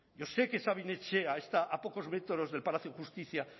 yo sé que sabin etxea está a pocos metros del palacio de justicia